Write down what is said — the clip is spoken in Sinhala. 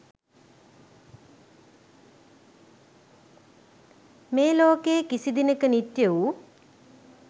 මේ ලෝකයේ කිසිදිනක නිත්‍ය වූ